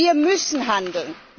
Wir müssen handeln!